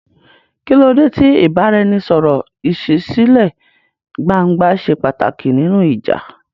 Kí ló dé tí ìbáraẹnisọ̀rọ̀ ìṣísílẹ̀-gbangba ṣe pàtàkì nínú ìjà?